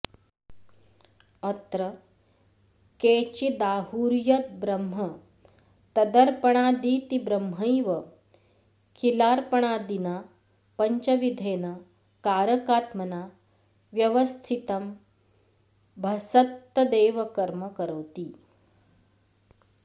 अत्र केचिदाहुर्यद्ब्रह्म तदर्पणादीति ब्रह्मैव किलार्पणादिना पञ्चविधेन कारकात्मना व्यवस्थितंभसत्तदेव कर्म करोति